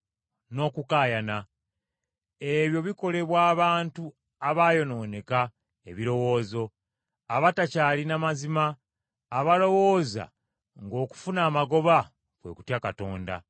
n’okukaayana. Ebyo bikolebwa abantu abaayonooneka ebirowoozo, abatakyalina mazima, abalowooza ng’okufuna amagoba kwe kutya Katonda.